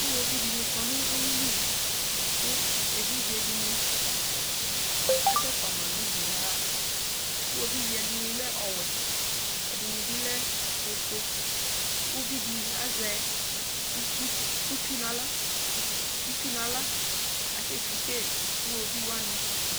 iwoviu di ni kɔ no uwili kò evidze di ni asɛ fua ma n'udu ya ɣa iwoviu ɛdini lɛ ɔwɛ ɛdini bi lɛ ofue uvi di azɛ itsu n'ala itsu n'ala asɛ titse iwoviu wani